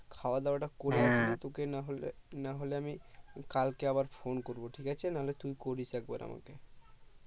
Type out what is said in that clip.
খাওয়া দাওয়া তা করে নেই তোকে তাহলে না হলে আমি কাল কে আবার phone করবো ঠিক আছে না হলে তুই করিস এক বার আমাকে